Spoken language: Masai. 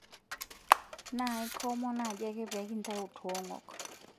Naai komon naaji ake pee kintau toong'ok